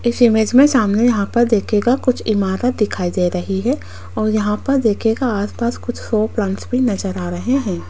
इस इमेज में सामने यहां पर देखिएगा कुछ इमारत दिखाई दे रही है और यहां पर देखिएगा आसपास कुछ शो प्लांट्स भी नजर आ रहे हैं।